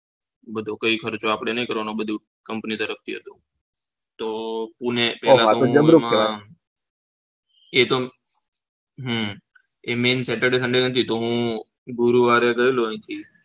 કોઈ ખર્ચો આપડે નહી કરવાનો બધું company તરફ હતું એતો હમ એ main Saturday sunday નથી તો હું ગુરુવારે ગયેલો અહીંથી